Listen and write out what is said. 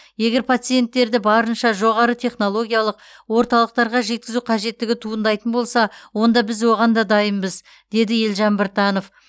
егер пациенттерді барынша жоғары технологиялық орталықтарға жеткізу қажеттігі туындайтын болса онда біз оған да дайынбыз деді елжан біртанов